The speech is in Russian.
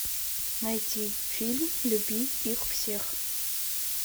найти фильм люби их всех